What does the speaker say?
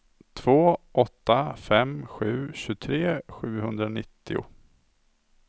två åtta fem sju tjugotre sjuhundranittio